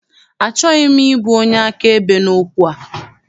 Achọghị m ịbụ onye akaebe n'okwu a.